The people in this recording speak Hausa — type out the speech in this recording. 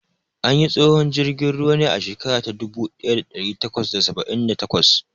An yi tsohon jirgin ruwan ne a shekara ta dubu ɗaya da ɗari takwas da saba'in da takwas.